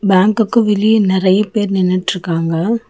பேங்க்கு வெளிய நெறைய பேர் நின்னுட்ருக்காங்க.